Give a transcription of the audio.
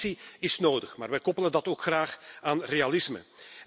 En ambitie is nodig, maar wij koppelen dat ook graag aan realisme.